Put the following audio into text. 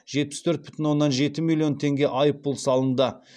жетпіс төрт бүтін оннан жеті миллион теңге айыппұл салынды